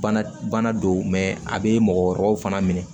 Bana bana don a bɛ mɔgɔ wɛrɛw fana minɛ